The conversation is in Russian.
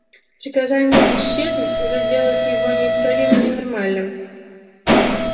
приказание исчезнуть уже делает его неисправимо ненормальным